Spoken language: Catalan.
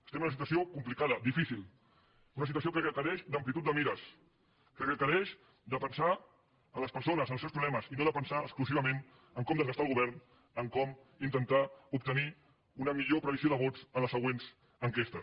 estem en una situació complicada difícil una situació que requereix amplitud de mires que requereix pensar en les persones en els seus problemes i no pensar exclusivament a com desgastar el govern a com intentar obtenir una millor previsió de vots en les següents enquestes